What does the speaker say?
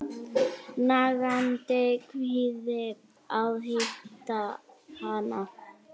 Nagandi kvíði að hitta hana.